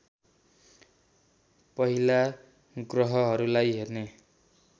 पहिला ग्रहहरूलाई हेर्ने